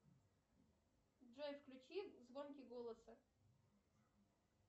джой включи звонкий голоса